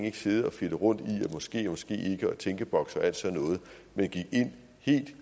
ikke sidde og fedte rundt i måske måske ikke og tænkeboks og alt sådan noget man gik ind helt